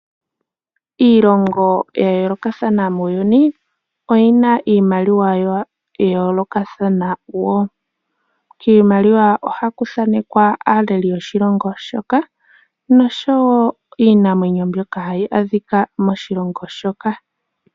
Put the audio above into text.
Iilongo ya yoolaokathana muuyuni oyi na iimaliwa ya yoolokathana wo. Kiimaliwa ohaku thanekwa aaleli yoshilongo shoka, nosho wo iinamwenyo mbyoka hayi adhika moshilongo shoka.